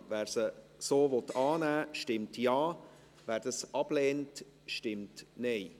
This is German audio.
Wer sie so annehmen will, stimmt Ja, wer dies ablehnt, stimmt Nein.